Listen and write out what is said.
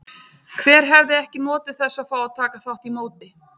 Hver hefði ekki notið þess að fá að taka þátt í móti?